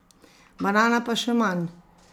Banana pa še manj!